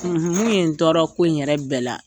Mun ye tɔɔrɔ ko in yɛrɛ bɛɛ la